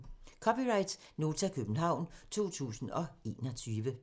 (c) Nota, København 2021